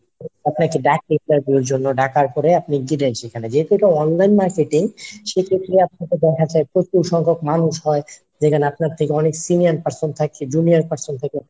আপনাকে ডাকে interview এর জন্য। ডাকার পরে আপনি গিলেন সেখানে যেহেতু এটা Online marketing সেক্ষেত্রে আপনার দেখা যায় প্রচুর সংখক মানুষ হয় যেখানে আপনার থেকে অনেক Senior person থাকে junior person থাকে